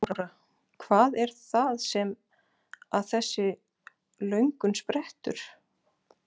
Þóra: Hvað er það sem að þessi löngun sprettur?